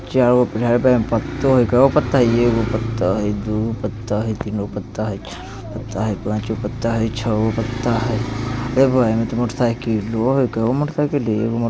चार गो पत्ता हाई | कैगो पत्ता हई ? एगो पत्ता हई दूगो पत्ता हई तीनगो पत्ता हई चारगो पत्ता हई पाँच गो पत्ता हई छौगो पत्ता हई मोटरसायकलो हई कैगो मोटरसायकल --